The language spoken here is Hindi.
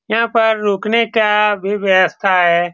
यहाँ पर रुकने का भी व्यवस्था है।